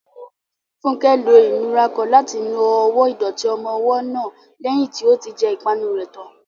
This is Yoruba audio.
Funke lo ìnura kan láti nu ọwọ́ ìdọ̀tí ọmọ ọwọ́ náà lẹ́yìn tí ó ti jẹ ìpanu rẹ̀ tán.